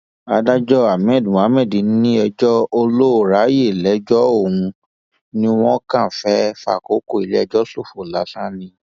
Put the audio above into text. adájọ ahmed mohammed ní ẹjọ olóòrayè lẹjọ ọhún ò ní wọn kàn fẹẹ fàkókò iléẹjọ ṣòfò lásán ni